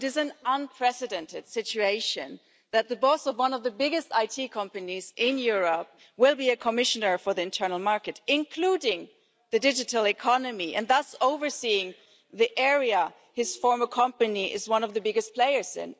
It is an unprecedented situation that the boss of one of the biggest IT companies in Europe will be a Commissioner for the internal market, including the digital economy, and thus overseeing the area his former company is one of the biggest players in.